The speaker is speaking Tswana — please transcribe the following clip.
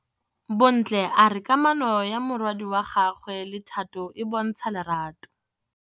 Bontle a re kamanô ya morwadi wa gagwe le Thato e bontsha lerato.